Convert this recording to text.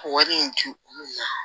Wari in di olu ma